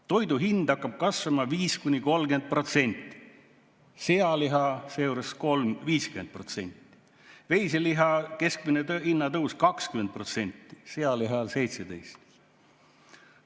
Toidu hind hakkab kasvama 5–30%, sealiha seejuures 50%, veiseliha keskmine hinnatõus 20%, sealihal 17%.